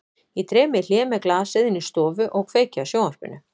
Ég dreg mig í hlé með glasið inn í stofu og kveiki á sjónvarpinu.